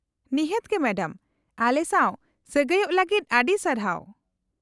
-ᱱᱤᱦᱟᱹᱛ ᱜᱮ , ᱢᱮᱰᱟᱢ ᱾ ᱟᱞᱮᱥᱟᱶ ᱥᱟᱹᱜᱟᱹᱭᱚᱜ ᱞᱟᱹᱜᱤᱫ ᱟᱹᱰᱤ ᱥᱟᱨᱦᱟᱣ ᱾